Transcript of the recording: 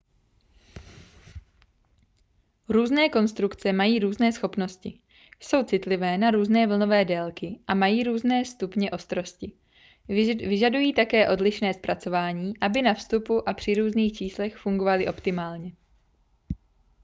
různé konstrukce mají různé schopnosti jsou citlivé na různé vlnové délky a mají různé stupně ostrosti vyžadují také odlišné zpracování aby na vstupu a při různých číslech fungovaly optimálně